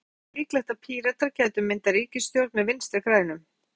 Heimir Már: Sýnist þér líklegt að Píratar gætu myndað ríkisstjórn með Vinstri-grænum?